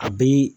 A bi